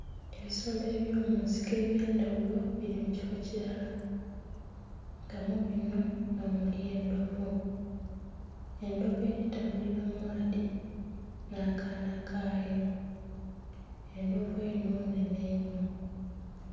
Ebisolo eby'omunsiko ebyendhaghulo nga bili mu kifo kilala, nga mubinho nhomuli endhovu, endhovu eli tambulila mu maadhi, nha kaana kaayo, endhovu enho nhenhe inho.